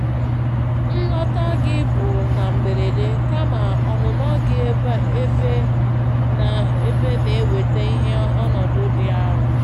Nlọta gị bụ na mgberede, kama ọnụnọ gị ebe na-eweta ihe n'ọnọdụ dị arụ.